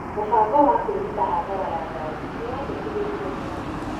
Mũbango wa kwĩgita hathara ya ngari nĩ wendekithĩtio nĩ waatho.